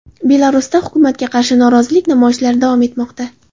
Belarusda hukumatga qarshi norozilik namoyishlari davom etmoqda.